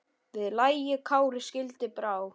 Við lagi Kári skildi brá.